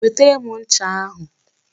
Wetara m ncha ahụ